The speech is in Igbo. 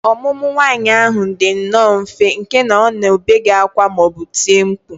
Ọmụmụ nwa nwaanyị ahụ dị nnọọ mfe nke na ọ na obeghị ákwá ma ọ bụ tie mkpu